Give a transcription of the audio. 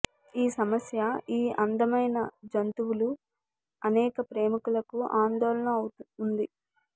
ఈ సమస్య ఈ అందమైన జంతువులు అనేక ప్రేమికులకు ఆందోళన ఉంది